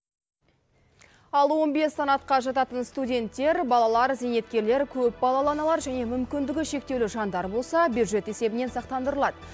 ал он бес санатқа жататын студенттер балалар зейнеткерлер көпбалалы аналар және мүмкіндігі шектеулі жандар болса бюджет есебінен сақтандырылады